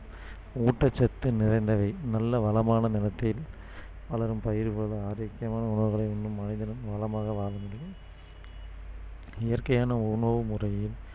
ஊட்டச்சத்து நிறைந்தவை நல்ல வளமான நிலத்தில் வளரும் பயிர்களுடன் ஆரோக்கியமான உணவுகளை உண்ணும் மனிதனும் வளமாக வாழ முடியும் இயற்கையான உணவு முறையின்